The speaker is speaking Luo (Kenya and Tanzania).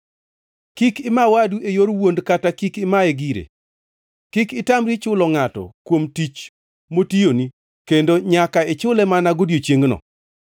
“ ‘Kik ima wadu e yor wuond kata kik imaye gire. “ ‘Kik itamri chulo ngʼato kuom tich motiyoni kendo nyaka ichule mana godiechiengno.